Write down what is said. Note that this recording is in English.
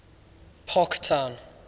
parktown